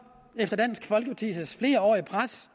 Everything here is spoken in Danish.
efter dansk folkepartis flerårige pres